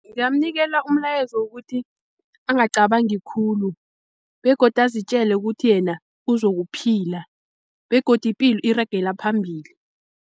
Ngingamnikela umlayezo wokuthi angacabangi khulu begodu azitjele ukuthi yena uzokuphila begodu ipilo iragela phambili.